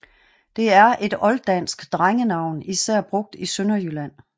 Det er et olddansk drengenavn især brugt i Sønderjylland